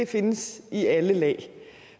findes i alle lag